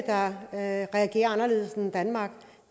at